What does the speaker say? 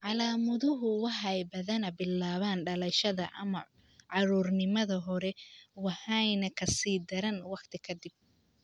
Calaamaduhu waxay badanaa bilaabaan dhalashada ama caruurnimada hore waxayna ka sii daraan waqti ka dib.